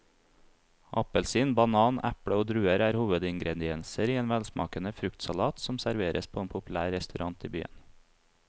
Appelsin, banan, eple og druer er hovedingredienser i en velsmakende fruktsalat som serveres på en populær restaurant i byen.